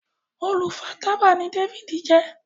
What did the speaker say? olu fà tábà ní David jé.